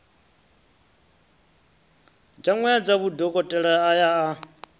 dzawedza vhudokotela a ya a